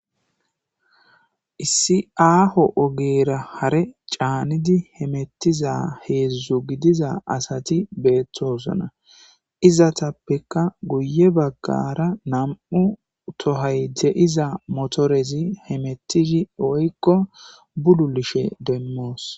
Issi aho ogera hare canidi hametiza hezhu gidiza asati betosona izetapeka guye bagara nam'u toy de'iza hemeti woyko bululushin demos